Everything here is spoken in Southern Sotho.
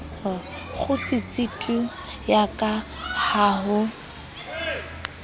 kgutsitse tu yaka ha ho